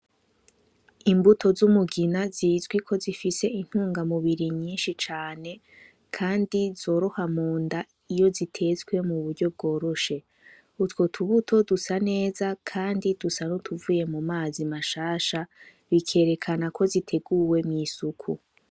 Imbuto z'umugina zizwi ko zifise intungamubiri nyishi cane kandi zoroha munda iyo zitetswe mu buryo bworoshe utwo tubuto dusa neza kandi dusa n'utuvuye mu mazi mashasha bikerekana ko ziteguwe mu isuku.